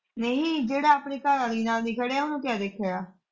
ਨਹੀਂ ਜਿਹੜਾ ਆਪਣੀ ਘਰਵਾਲੀ ਨਾਲ ਨੀ ਖੜ੍ਹਿਆ ਉਹਨੂੰ ਕਿਆ ਦੇਖੇਗਾ।